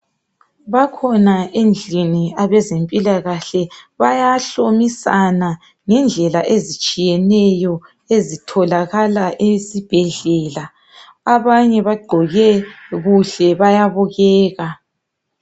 Bakhona endlini abezempilakahle bayahlomisana ngendlela ezitshiyeneyo ezitholakala esibhedlela. Abanye bagqoke kuhle bayabukeka.